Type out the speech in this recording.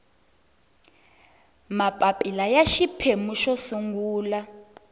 mapapila ya xiphemu xo sungula